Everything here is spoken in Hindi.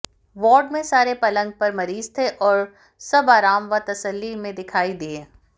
वार्ड में सारे पलंग पर मरीज थे और सब आराम व तसल्ली में दिखाई दिए